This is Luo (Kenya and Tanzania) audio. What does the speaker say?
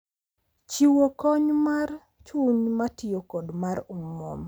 Chiwo kony mar chuny, matiyo, kod mar omwom.